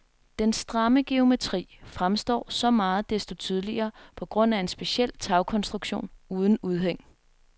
Den stramme geometri fremstår så meget desto tydeligere på grund af en speciel tagkonstruktion uden udhæng.